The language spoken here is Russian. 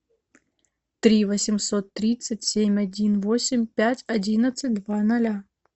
три восемьсот тридцать семь один восемь пять одиннадцать два ноля